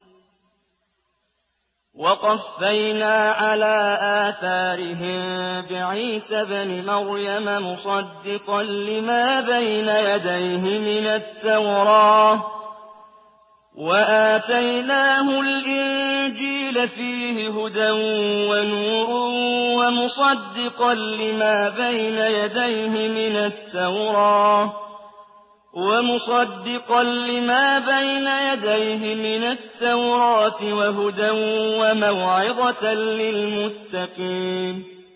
وَقَفَّيْنَا عَلَىٰ آثَارِهِم بِعِيسَى ابْنِ مَرْيَمَ مُصَدِّقًا لِّمَا بَيْنَ يَدَيْهِ مِنَ التَّوْرَاةِ ۖ وَآتَيْنَاهُ الْإِنجِيلَ فِيهِ هُدًى وَنُورٌ وَمُصَدِّقًا لِّمَا بَيْنَ يَدَيْهِ مِنَ التَّوْرَاةِ وَهُدًى وَمَوْعِظَةً لِّلْمُتَّقِينَ